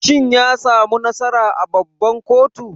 Shin yasamu nasara a babban koto?